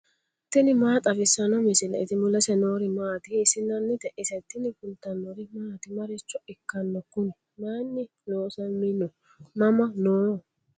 tini maa xawissanno misileeti ? mulese noori maati ? hiissinannite ise ? tini kultannori maati? Maricho ikkanno kunni? Mayiinni loosamminno? Mama noo?